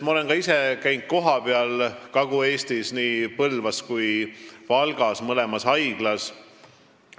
Ma olen ka ise käinud kohapeal Kagu-Eestis nii Põlvas kui ka Valgas, mõlemas haiglas.